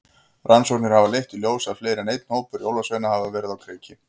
Rannsóknir hafa leitt í ljós að fleiri en einn hópur jólasveina hafa verið á kreiki.